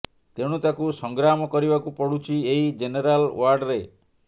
ତେଣୁ ତାକୁ ସଂଗ୍ରାମ କରିବାକୁ ପଡୁଛି ଏହି ଜେନେରାଲ୍ ୱାର୍ଡରେ